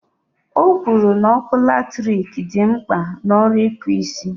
O kwuru na ọkụ latrik dị mkpa n' ọrụ ịkpụ isi